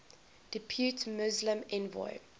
depute muslim envoy